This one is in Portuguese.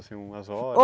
Assim, umas horas?